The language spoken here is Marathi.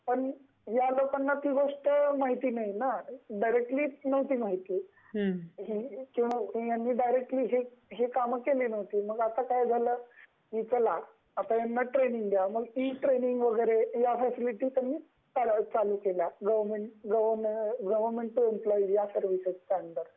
पण ह्या लोकना ही गोष्ट माहिती नाही न त्यांनी डायरेक्टली ही काम केली नव्हती , आता काय झाल, आता याना ट्रेनिंग दयाव या फ्यसिलिटी त्यांनी चालू केल्या गवर्नमेंट टू एम्प्लोयी च्या सर्विसेस च्या अंडर।